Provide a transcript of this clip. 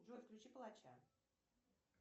джой включи палача